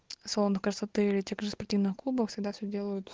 салон красоты ветер спортивных клубах всегда все делают